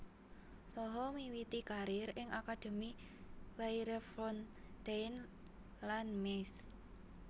Saha miwiti karir ing akademi Clairefontaine lan Metz